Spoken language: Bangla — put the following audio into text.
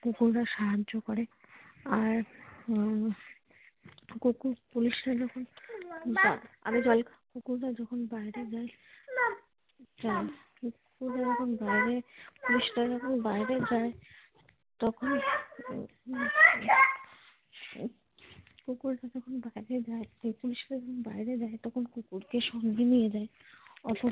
পুলিশরা যখন বাইরে যায় তখন কুকুররা যখন বাইরে যায় এই পুলিশরা যখন বাইরে যায় তখন কুকুরকে সঙ্গে নিয়ে যায়।